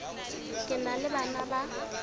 ke na le bana ba